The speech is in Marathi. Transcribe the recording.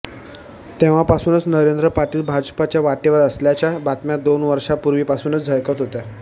तेंव्हापासूनच नरेंद्र पाटील भाजपाच्या वाटेवर असल्याच्या बातम्या दोन वर्षापुर्वीपासूनच झळकत होत्या